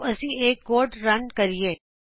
ਆਓ ਅਸੀ ਇਹ ਕੋਡ ਰਨ ਕਰੀਏ